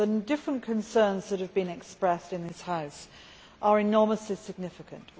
The different concerns that have been expressed in the House are enormously significant.